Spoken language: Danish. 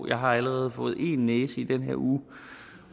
jeg har allerede fået én næse i den her uge